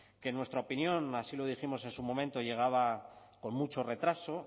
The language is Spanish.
que en nuestra opinión así lo dijimos en su momento llegaba con mucho retraso